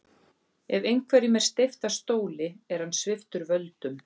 Ef einhverjum er steypt af stóli er hann sviptur völdum.